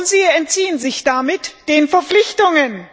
Sie entziehen sich damit den Verpflichtungen.